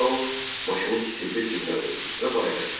Tao maşını kiçildib cibinə qoydu və bayıra çıxdı.